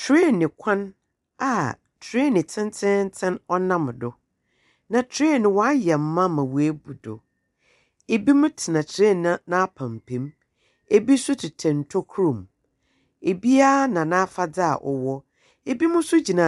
Traine kwan a train tententen ɔnam do. Na train no wayɛ ma ma woabu do. Ebi mo tena train n'apampam mu. Ebi nso tetɛ ntokoro mu. Obiara na n'afadeɛ a wɔwɔ . Ebi mo nso gyina